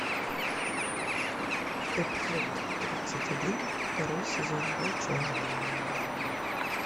эпизод тридцать один второй сезон волчонок